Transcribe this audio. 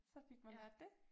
Så fik man lært det